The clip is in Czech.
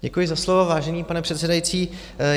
Děkuji za slovo, vážený pane předsedající.